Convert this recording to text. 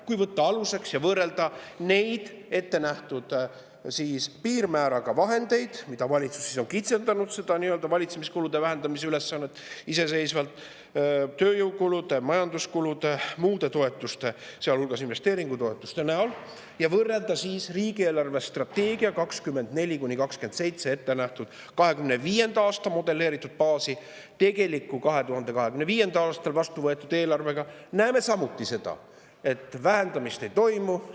Kui võtta see aluseks ja võrrelda ettenähtud piirmääraga neid vahendeid, mida valitsus on iseseisvalt kitsendanud, seda valitsemiskulude vähendamise ülesannet tööjõukulude, majanduskulude ja muude toetuste, sealhulgas investeeringutoetuste näol, ja võrrelda riigi eelarvestrateegias 2024–2027 ettenähtud 2025. aasta modelleeritud baasi 2025. aasta tegeliku, vastuvõetud eelarvega, näeme samuti, et vähendamist ei toimu.